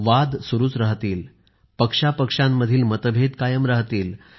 वाद सुरूच राहतील पक्षांतील मतभेद कायम राहतील